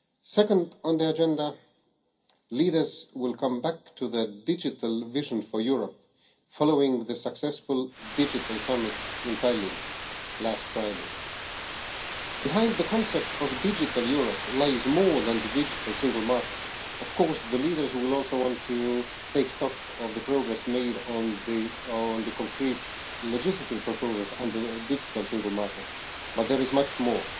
Second on the agenda, leaders will come back to the digital vision for Europe, following the successful Digital Summit in Tallinn last Friday. Behind the concept of a digital Europe lies more than the digital single market. The leaders will of course also want to take stock of the progress made on the concrete legislative proposals under the digital single market but there is much more.